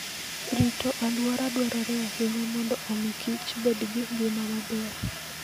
Rito alwora dwarore ahinya mondo omi Kichbed gi ngima maber.